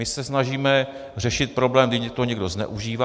My se snažíme řešit problém, když to někdo zneužívá.